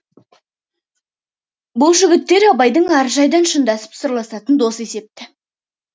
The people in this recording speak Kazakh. бұл жігіттер абайдың әр жайдан шындасып сырласатын досы есепті